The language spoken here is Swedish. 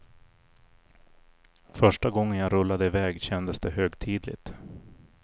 Första gången jag rullade i väg kändes det högtidligt.